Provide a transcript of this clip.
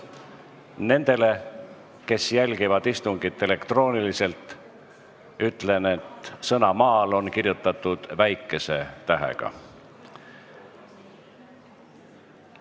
Nendele, kes jälgivad istungit elektrooniliselt, ütlen, et sõna "maal" on kirjutatud väikese tähega.